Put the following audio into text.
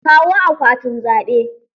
Kawo akwatin zaɓe!